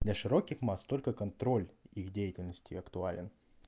для широких масс только контроль их деятельности актуален